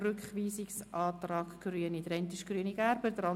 – Es scheint keine Einwände zu geben.